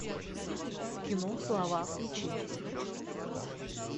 кино слова включи